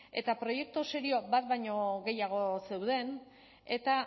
eta proiektu serio bat baino gehiago zeuden eta